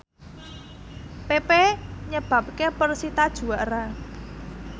pepe nyebabke persita juara